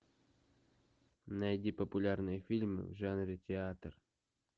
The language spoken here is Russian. найди популярные фильмы в жанре театр